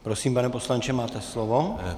Prosím, pane poslanče, máte slovo.